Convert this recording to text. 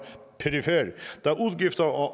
perifer da udgifter og